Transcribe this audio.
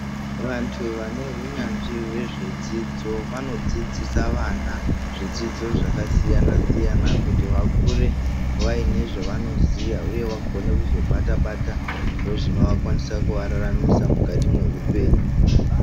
Vantu vane unyanzvi wezve dzidzo vanodzidzisa vana zvidzidzo zvaka siyana siyana kuti vakure vaine zvavano ziya uye vakone kuzo bata bata zvinova kwanisa kuva raramisa mukati me hupenyu.